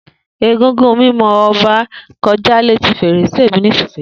Egúngún mimo Oba koja leti ferese mi nisiyi.